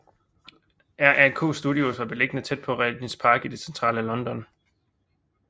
RAK Studios var beliggende tæt ved Regents Park i det centrale London